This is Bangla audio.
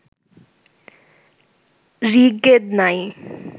ঋগ্বেদ নাই